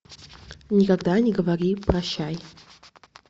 никогда не говори прощай